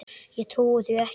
Ég trúi því ekki!